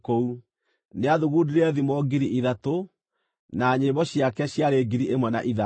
Nĩaathugundire thimo ngiri ithatũ, na nyĩmbo ciake ciarĩ ngiri ĩmwe na ithano.